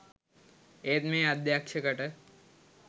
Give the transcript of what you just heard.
ඒත් මේ අධ්‍යක්ෂකට